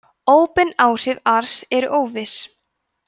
óbein áhrif ars eru óviss